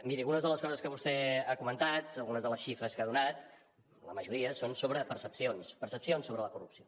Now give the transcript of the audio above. miri algunes de les coses que vostè ha comentat algunes de les xifres que ha donat la majoria són sobre percepcions percepcions sobre la corrupció